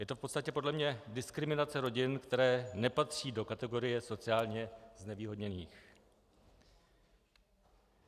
Je to v podstatě podle mě diskriminace rodin, které nepatří do kategorie sociálně znevýhodněných.